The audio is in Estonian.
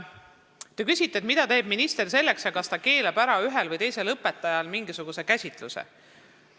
Te küsite, mida teeb minister ja kas ta keelab ühel või teisel õpetajal mingisuguse käsitluse ära.